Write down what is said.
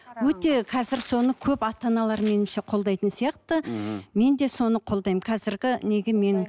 өте қазір соны көп ата аналар меніңше қолдайтын сияқты мхм мен де соны қолдаймын қазіргі неге мен